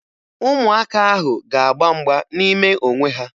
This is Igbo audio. Ụmụaka ahụ ga-agba mgba n'ime onwe ha